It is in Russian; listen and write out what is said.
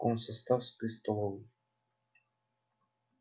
в комсоставской столовой